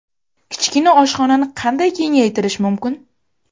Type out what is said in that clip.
Kichkina oshxonani qanday kengaytirish mumkin?